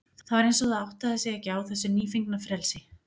Það var eins og það áttaði sig ekki á þessu nýfengna frelsi.